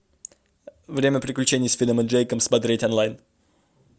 время приключений с финном и джейком смотреть онлайн